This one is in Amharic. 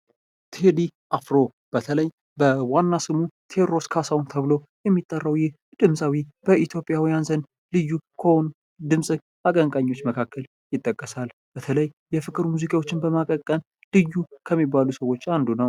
ቴዲ አፍሮ በተለይ በዋና ስሙ ቴዎድሮስ ካሳሁን ተብሎ የሚጠራው ይህ ድምፃዊ በኢትዮጵያውያን ዘንድ ልዩ ከሆኑ የድምፅ አቀንቃኞች መካከል ይጠቀሳል ። በተለይ የፍቅር ሙዚቃዎችን በማቀንቀን ልዩ ከሚባሉ ሰዎች አንዱ ነው ።